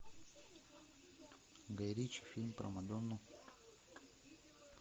гай ричи фильм про мадонну